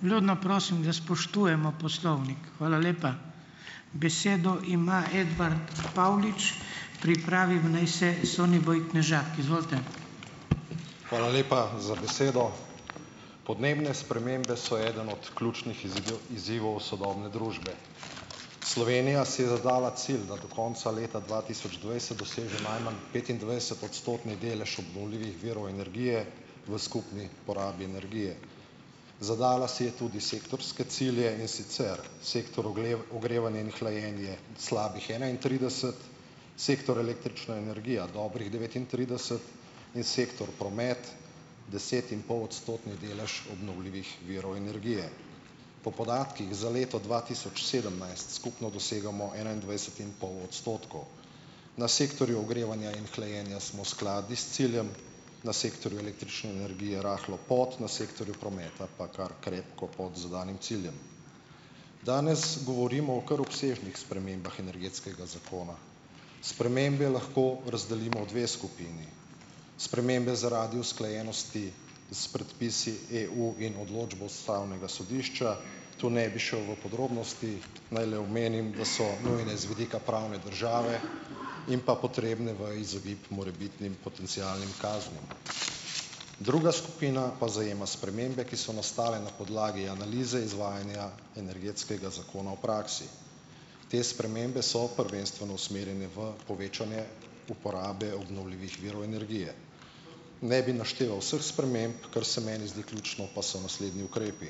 Vljudno prosim, da spoštujemo poslovnik, hvala lepa. Besedo ima Edvart Pavlič Pripravi naj se Soniboj Knežak. Izvolite. Hvala lepa za besedo. Podnebne spremembe so eden od ključnih izzidov izzivov sodobne družbe. Slovenija si je zadala cilj, da do konca leta dva tisoč dvajset doseže najmanj petindvajsetodstotni delež obnovljivih virov energije v skupni porabi energije. Zadala si je tudi sektorske cilje, in sicer sektor ogrevanje in hlajenje slabih enaintrideset, sektor električna energija dobrih devetintrideset, in sektor promet desetinpolodstotni delež obnovljivih virov energije. Po podatkih za leto dva tisoč sedemnajst skupno dosegamo enaindvajset in pol odstotkov. Na sektorju ogrevanja in hlajenja smo skladni s ciljem, na sektorju električne energije rahlo pod, na sektorju prometa pa kar krepko pod zadanim ciljem. Danes govorimo o kar obsežnih spremembah energetskega zakona. Spremembe lahko razdelimo v dve skupini: spremembe zaradi usklajenosti s predpisi EU in odločbo ustavnega sodišča, tu ne bi šel v podrobnosti. Naj le omenim, da so nujne z vidika pravne države in pa potrebne v izogib morebitnim potencialnim kaznim. Druga skupina pa zajema spremembe, ki so nastale na podlagi analize izvajanja energetskega zakona v praksi. Te spremembe so prvenstveno usmerjene v povečanje uporabe obnovljivih virov energije. Ne bi našteval vseh sprememb. Kar se meni zdi ključno, pa so naslednji ukrepi: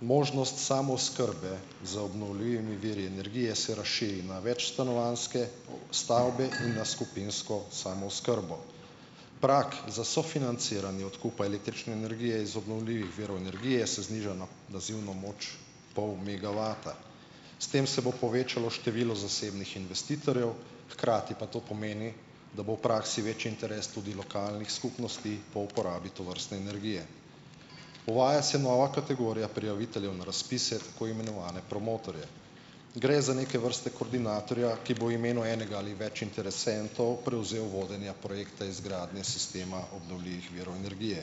možnost samooskrbe z obnovljivimi viri energije se razširi na večstanovanjske stavbe in na skupinsko samooskrbo. Prag za sofinanciranje odkupa električne energije iz obnovljivih virov energije se zniža na nazivno moč pol megavata. S tem se bo povečalo število zasebnih investitorjev, hkrati pa to pomeni, da bo v praksi večji interes tudi lokalnih skupnosti po uporabi tovrstne energije. Uvaja se nova kategorija prijaviteljev na razpise, tako imenovane promotorje. Gre za neke vrste koordinatorja, ki bo v imenu enega ali več interesentov prevzel vodenje projekta izgradnje sistema obnovljivih virov energije.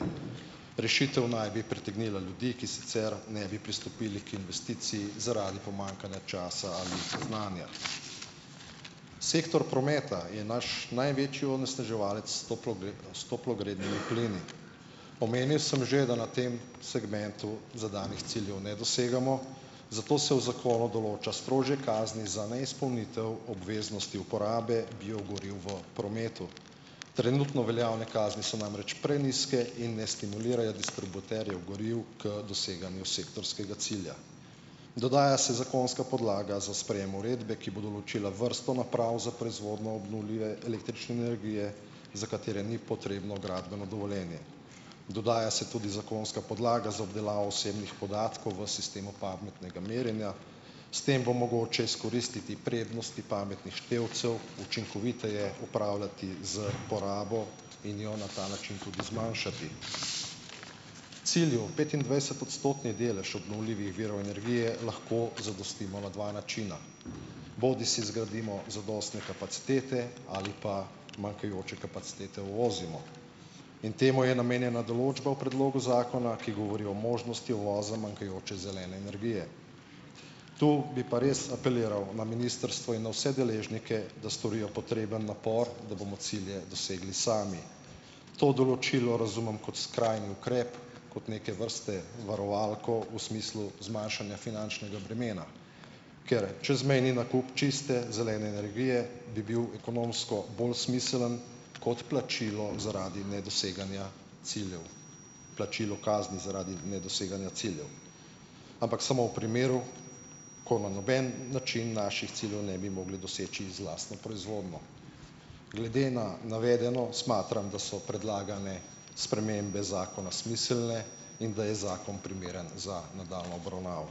Rešitev naj bi pritegnila ljudi, ki sicer ne bi pristopili k investiciji zaradi pomanjkanja časa ali znanja. Sektor prometa je naš največji onesnaževalec s toplogrednimi plini. Omenil sem že, da na tem segmentu zadanih ciljev ne dosegamo, zato se v zakonu določa strožje kazni za neizpolnitev obveznosti uporabe biogoriv v prometu. Trenutno veljavne kazni so namreč prenizke in ne stimulirajo distributerjev goriv k doseganju sektorskega cilja. Dodaja se zakonska podlaga za sprejem uredbe, ki bo določila vrsto naprav za proizvodnjo obnovljive električne energije, za katere ni potrebno gradbeno dovoljenje. Dodaja se tudi zakonska podlaga za obdelavo osebnih podatkov v sistemu pametnega merjenja. S tem bo mogoče izkoristiti prednosti pametnih števcev, učinkoviteje upravljati s porabo in jo na ta način tudi zmanjšati. Cilju petindvajsetodstotni delež obnovljivih virov energije lahko zadostimo na dva načina, bodisi zgradimo zadostne kapacitete ali pa manjkajoče kapacitete uvozimo. In temu je namenjena določba v predlogu zakona, ki govori o možnosti uvoza manjkajoče zelene energije. Tu bi pa res apeliral na ministrstvo in na vse deležnike, da storijo potreben napor, da bomo cilje dosegli sami. To določilo razumem kot skrajni ukrep, kot neke vrste varovalko v smislu zmanjšanja finančnega bremena, ker čezmejni nakup čiste zelene energije bi bil ekonomsko bolj smiseln kot plačilo zaradi nedoseganja ciljev, plačilo kazni zaradi nedoseganja ciljev, ampak samo v primeru, ko na noben način naših ciljev ne bi mogli doseči z lastno proizvodnjo. Glede na navedeno smatram, da so predlagane spremembe zakona smiselne in da je zakon primeren za nadaljnjo obravnavo.